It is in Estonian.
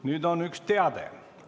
Nüüd on üks teade.